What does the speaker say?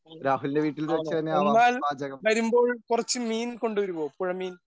ആണോ എന്നാൽ വരുമ്പോൾ കുറച്ചു മീൻ കൊണ്ടുവരുമോ പുഴമീൻ?